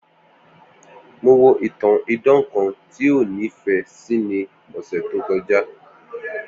Mo wo itan idan kan ti o nifẹ si ni ọsẹ to kọja